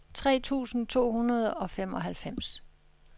tre tusind to hundrede og femoghalvfems